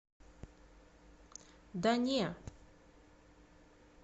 да не